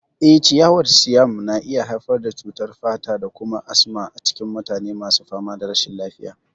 Eh, ciyawar Siam na iya haifar da cutar fata da kuma asma a cikin mutane masu fama da rashin lafiya.